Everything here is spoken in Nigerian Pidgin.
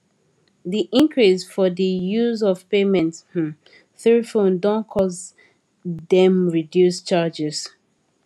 de increase for de use of payment um through phone don cause dem reduce charges